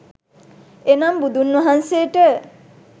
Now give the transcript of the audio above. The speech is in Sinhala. එනම් බුදුන්වහන්සේට